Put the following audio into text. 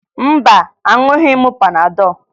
Mba, aṅụghị m panadọ